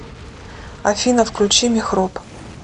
афина включи мехроб